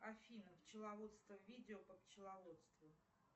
афина пчеловодство видео по пчеловодству